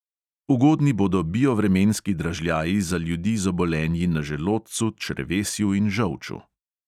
Ugodni bodo biovremenski dražljaji za ljudi z obolenji na želodcu, črevesju in žolču.